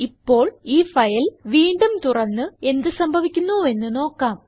ഇപ്പോൾ ഈ ഫയൽ വീണ്ടും തുറന്നു എന്ത് സംഭവിക്കുന്നുവെന്ന് നോക്കാം